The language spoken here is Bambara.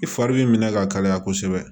I fari b'i minɛ ka kalaya kosɛbɛ